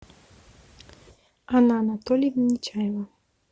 анна анатольевна нечаева